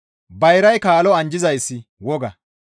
Bayray kaalo anjjizayssi woga.